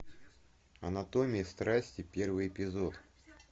анатомия страсти первый эпизод